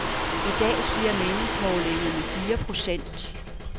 I dag siger meningsmålingerne fire procent.